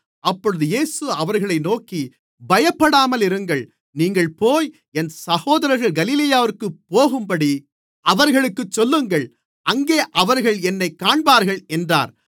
அப்பொழுது இயேசு அவர்களை நோக்கி பயப்படாமலிருங்கள் நீங்கள் போய் என் சகோதரர்கள் கலிலேயாவிற்குப் போகும்படி அவர்களுக்குச் சொல்லுங்கள் அங்கே அவர்கள் என்னைக் காண்பார்கள் என்றார்